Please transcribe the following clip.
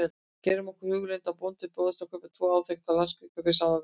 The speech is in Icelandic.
Gerum okkur í hugarlund að bónda bjóðist að kaupa tvo áþekka landskika fyrir sama verð.